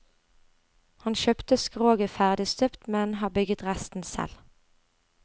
Han kjøpte skroget ferdig støpt, men har bygget resten selv.